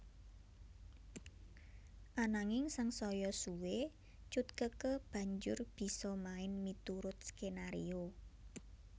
Ananging sangsaya suwé Cut Keke banjur bisa main miturut skenario